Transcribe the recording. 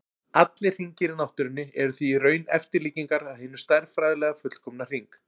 Allir hringir í náttúrunni eru því í raun eftirlíkingar af hinum stærðfræðilega fullkomna hring.